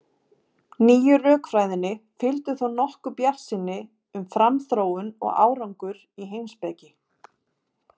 Þeir eru því víða mikilvægir einkennissteingervingar.